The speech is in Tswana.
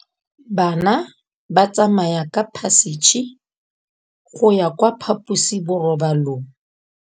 Bana ba tsamaya ka phašitshe go ya kwa phaposiborobalong.